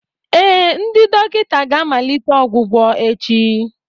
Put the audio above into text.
Ee, ndị dọkịta ga-amalite ọgwụgwọ echi